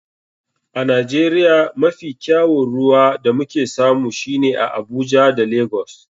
A nigeria mafi kyawun ruwa da muke samu shine a abuja da lagos.